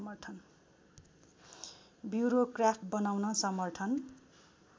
bureaucrat बनाउन समर्थन